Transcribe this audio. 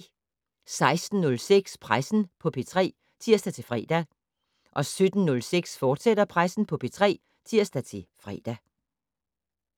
16:06: Pressen på P3 (tir-fre) 17:06: Pressen på P3, fortsat (tir-fre)